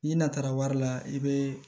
I natara wari la i bɛ